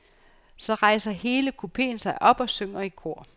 Så rejser hele kupeen sig op og synger i kor.